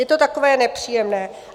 Je to takové nepříjemné.